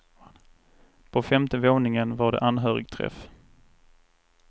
På femte våningen var det anhörigträff.